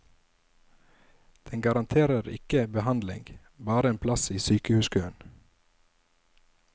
Den garanterer ikke behandling, bare en plass i sykehuskøen.